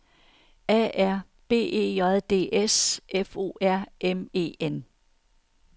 A R B E J D S F O R M E N